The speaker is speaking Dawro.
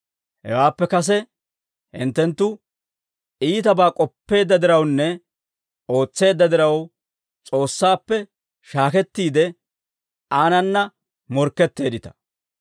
Hawaappe kase, hinttenttu iitabaa k'oppeedda dirawunne ootseedda diraw, S'oossaappe shaakettiide, Aanana morkketteeddita.